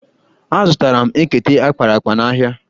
Azụtara m ekete akpara akpa n'ahịa.